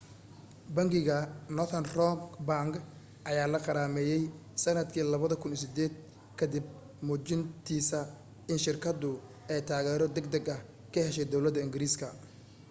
bangiga northern rock bank ayaa la qarameeyyay sanadkii 2008 kadib muujintiisa in shirkadu ay taageero degdeg ah ka heshay dowlada ingiriiska